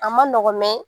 A ma nɔgɔn